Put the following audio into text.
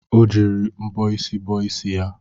Ọ jiri mbọ isi bọọ isi ya